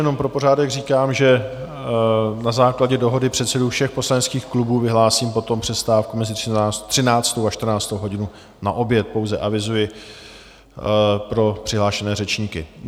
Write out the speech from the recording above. Jenom pro pořádek říkám, že na základě dohody předsedů všech poslaneckých klubů vyhlásím potom přestávku mezi 13. a 14. hodinou na oběd, pouze avizuji pro přihlášené řečníky.